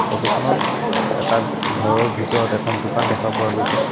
Photo খনত এ এটা ঘৰৰ ভিতৰত এখন দোকান দেখা পোৱা গৈছে।